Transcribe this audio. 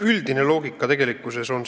Üldine loogika on tegelikkuses selline.